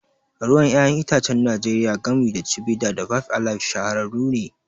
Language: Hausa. Ruwan 'ya'yan itacen Najeriya, gami da Chivita da Five Alive, shahararrun ne.